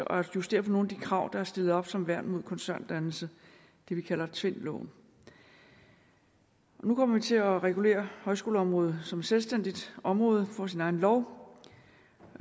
og at justere nogle af de krav der er stillet op som værn imod koncerndannelse det vi kalder tvindloven nu kommer vi til at regulere højskoleområdet som et selvstændigt område der får sin egen lov